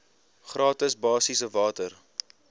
gratis basiese water